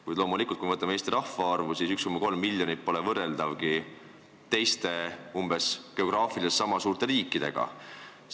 Kuid loomulikult, kui me vaatame Eesti rahvaarvu, siis näeme, et 1,3 miljonit pole võrreldavgi teiste, geograafiliselt umbes niisama suurte riikide rahvaarvuga.